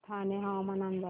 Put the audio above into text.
ठाणे हवामान अंदाज